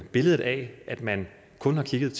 billedet af at man kun har kigget